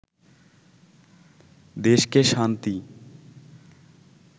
দেশকে শান্তি